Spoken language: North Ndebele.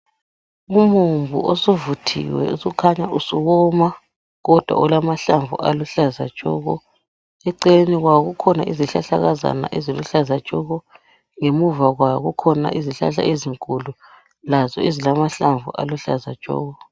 Umumbu osuvuthiwe osukhanya usuwoma kodwa ulamahlamvu aluhlaza tshoko eceleni kwawo kukhona izihlahlakazana eziluhlaza tshoko ngemuva kwawo kukhona izihlahla ezinkulu lazo eziluhlaza tshoko.